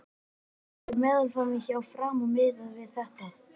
Hver eru meðallaunin hjá Fram miðað við þetta?